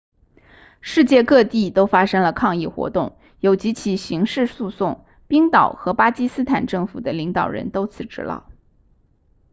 世界各地都发生了抗议活动有几起刑事诉讼冰岛和巴基斯坦政府的领导人都辞职了